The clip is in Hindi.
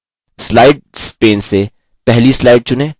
slides pane से पहली slides चुनें